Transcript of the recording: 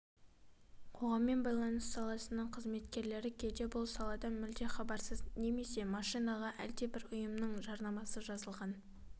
қоғаммен байланыс саласының қызметкерлері кейде бұл саладан мүлде хабарсыз немесе машинаға әлдебір ұйымның жарнамасы жазылған